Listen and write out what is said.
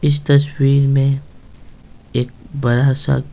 इस तस्वीर में एक बड़ा सा --